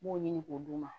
N b'o ɲini k'o d'u ma